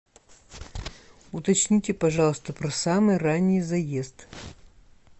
уточните пожалуйста про самый ранний заезд